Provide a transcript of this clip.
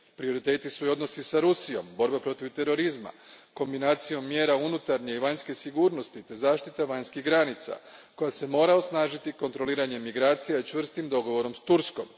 Prioriteti su i odnosi s Rusijom, borba protiv terorizma kombinacijom mjera unutarnje i vanjske sigurnosti te zaštita vanjskih granica, koja se mora osnažiti kontroliranjem migracije i čvrstim dogovorom s Turskom.